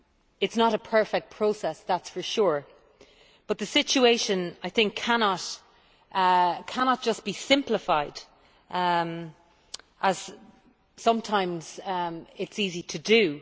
It is not a perfect process, that is for sure, but the situation I think cannot just be simplified as sometimes it is easy to do.